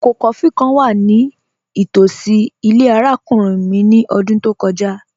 Ọkọ kófí̀ kàn wà ní tosí ilẹ̀ arákùnrin mi ní ọ̀dún tó kọja